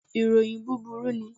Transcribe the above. Iroyin buburu ni